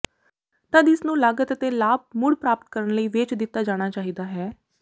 ਤਦ ਇਸ ਨੂੰ ਲਾਗਤ ਅਤੇ ਲਾਭ ਮੁੜ ਪ੍ਰਾਪਤ ਕਰਨ ਲਈ ਵੇਚ ਦਿੱਤਾ ਜਾਣਾ ਚਾਹੀਦਾ ਹੈ